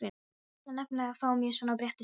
Ég ætla nefnilega að fá mér svona bretti sjálf.